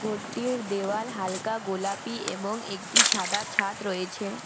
ঘরটির দেওয়া হালকা গোলাপী এবং একটি সাদা ছাদ রয়েছে।